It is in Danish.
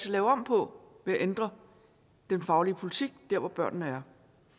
lave om på ved at ændre den faglige politik der hvor børnene er